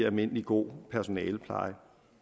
almindelig god personalepleje